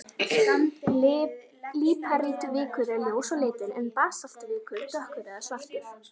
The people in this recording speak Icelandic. Líparítvikur er ljós á litinn en basaltvikur dökkur eða svartur.